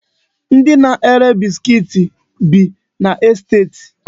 Ndi na-ere biskit bi n'esteti.